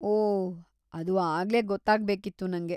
ಓಹ್, ಅದು ಆಗ್ಲೇ ಗೊತ್ತಾಗ್ಬೇಕಿತ್ತು ನಂಗೆ.